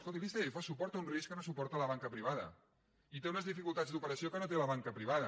escolti l’icf suporta un risc que no suporta la banca privada i té unes dificultats d’operació que no té la banca privada